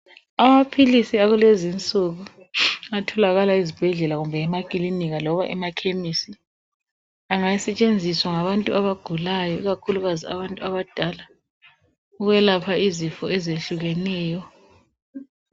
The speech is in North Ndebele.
Amaphilisi akulezi nsuku atholakala ezibhedlela kumbe emakilinika loba emakhemisi .Angasetshenziswa ngabantu abagulayo .Ikakhulukazi abantu abadala ukwelapha izifo ezehlukeneyo .